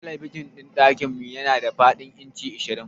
Talabijin ɗin dakinmu tana da fadin inci ashirin.